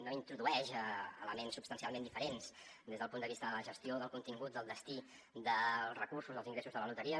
no introdueix elements substancialment diferents des del punt de vista de la gestió del contingut del destí dels recursos dels ingressos de la loteria